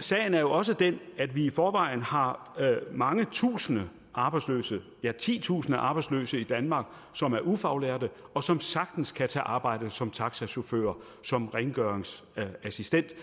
sagen er jo også den at vi i forvejen har mange tusinde arbejdsløse ja titusinder af arbejdsløse i danmark som er ufaglærte og som sagtens kan tage arbejde som taxachauffør som rengøringsassistent